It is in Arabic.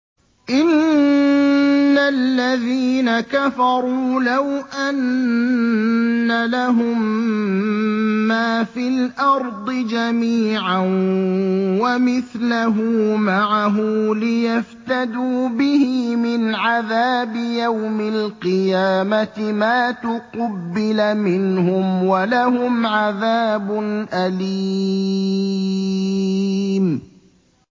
إِنَّ الَّذِينَ كَفَرُوا لَوْ أَنَّ لَهُم مَّا فِي الْأَرْضِ جَمِيعًا وَمِثْلَهُ مَعَهُ لِيَفْتَدُوا بِهِ مِنْ عَذَابِ يَوْمِ الْقِيَامَةِ مَا تُقُبِّلَ مِنْهُمْ ۖ وَلَهُمْ عَذَابٌ أَلِيمٌ